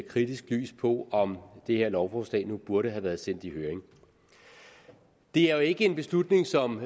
kritisk lys på om det her lovforslag nu burde have været sendt i høring det er jo ikke en beslutning som